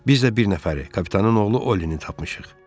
Biz də bir nəfəri, kapitanın oğlu Ollini tapmışıq.